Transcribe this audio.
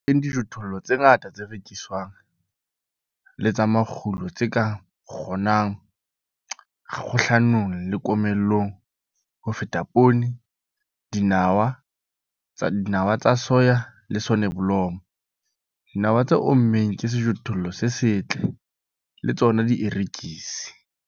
Teng dijothollo tse ngata tse rekiswang le tsa makgulo tse ka kgonang kgahlanong le komello ho feta poone, dinawa tsa soya le soneblomo. Dinawa tse ommeng ke sejothollo se setle, le tsona dierekisi.